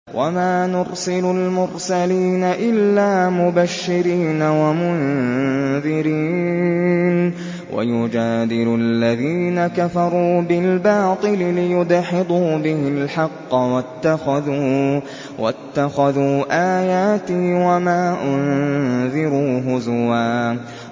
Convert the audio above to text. وَمَا نُرْسِلُ الْمُرْسَلِينَ إِلَّا مُبَشِّرِينَ وَمُنذِرِينَ ۚ وَيُجَادِلُ الَّذِينَ كَفَرُوا بِالْبَاطِلِ لِيُدْحِضُوا بِهِ الْحَقَّ ۖ وَاتَّخَذُوا آيَاتِي وَمَا أُنذِرُوا هُزُوًا